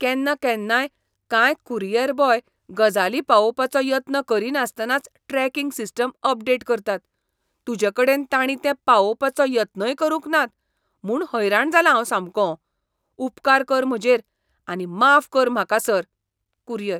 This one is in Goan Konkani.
केन्नाकेन्नाय, कांय कुरियर बॉय गजाली पावोवपाचो यत्न करिनासतनाच ट्रॅकिंग सिस्टम अपडेट करतात. तुजेकडेन ताणींतें पावोवपाचो यत्नय करूंक नात म्हूण हैराण जालां हांव सामको. उपकार कर म्हजेर आनी माफ कर म्हाका, सर. कुरियर